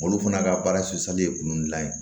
Olu fana ka baara ye kungo gilan ye